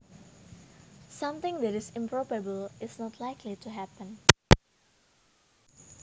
Something that is improbable is not likely to happen